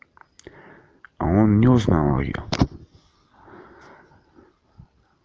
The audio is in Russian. он не узнал её